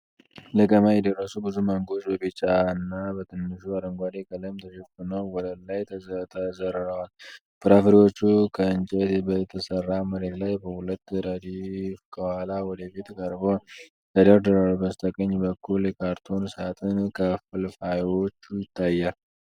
ለቀማ የደረሱ ብዙ ማንጎዎች በቢጫና በትንሹ በአረንጓዴ ቀለም ተሸፍነው ወለል ላይ ተዘርረዋል። ፍራፍሬዎቹ ከእንጨት በተሠራ መሬት ላይ በሁለት ረድፍ ከኋላ ወደ ፊት ቀርበው ተደርድረዋል። በስተቀኝ በኩል የካርቶን ሳጥን ክፍልፋዮች ይታያሉ።